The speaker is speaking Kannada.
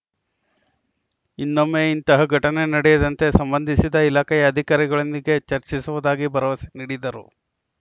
ಇನ್ನೊಮ್ಮೆ ಇಂತಹ ಘಟನೆ ನಡೆಯದಂತೆ ಸಂಬಂಧಿಸಿದ ಇಲಾಖೆಯ ಅಧಿಕಾರಿಗಳೊಂದಿಗೆ ಚರ್ಚಿಸುವುದಾಗಿ ಭರವಸೆ ನೀಡಿದರು